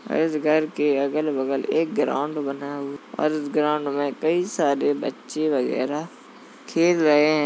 और इस घर के अगल-बगल एक ग्राउंड बना हु- और इस ग्राउंड में कई बच्चे वगैरह खेल रहे हैं।